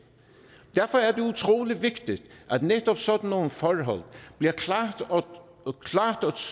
derfor er det utrolig vigtigt at netop sådan nogle forhold bliver klart og